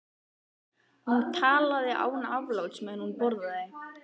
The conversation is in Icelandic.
Hún talaði án afláts meðan hún borðaði.